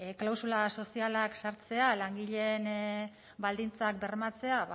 klausula sozialak sartzea langileen baldintzak bermatzea